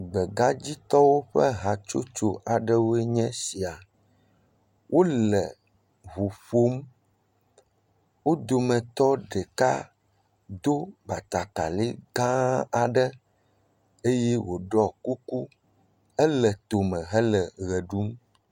Gbegadzitɔwo ƒe hatsotso aɖewoe nye sia. Wole ŋu ƒom, wo dometɔ ɖeka do batakari gã aɖe eye wòɖɔ kuku. Ele tome hele ʋe ɖum.